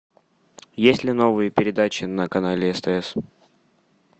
есть ли новые передачи на канале стс